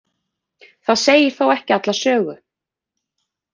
Það segir þó ekki alla sögu.